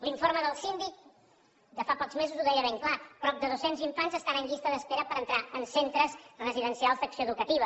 l’informe del síndic de fa pocs mesos ho deia ben clar prop de dos cents infants estan en llista d’espera per entrar en centres residencials d’acció educativa